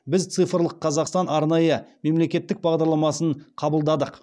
біз цифрлық қазақстан арнайы мемлекеттік бағдарламасын қабылдадық